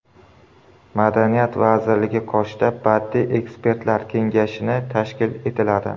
Madaniyat vazirligi qoshida Badiiy ekspertlar kengashini tashkil etiladi.